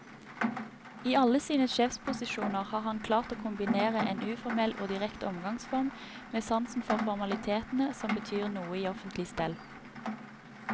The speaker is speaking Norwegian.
I alle sine sjefsposisjoner har han klart å kombinere en uformell og direkte omgangsform med sansen for formalitetene som betyr noe i offentlig stell.